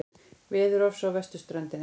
Veðurofsi á vesturströndinni